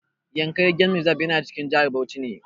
Yankari game reserve yana cikin jihar Bauchi ne.